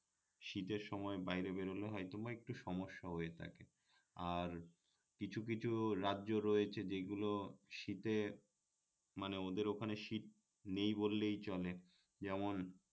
শীতের সময় বাইরে বেরলে হয়তো বা একটু সমস্যা হয়ে থাকে আর কিছু কিছু রাজ্য রয়েছে যেগুলো শীতে মানে ওদের ওখানে শীত নেই বললেই চলে যেমন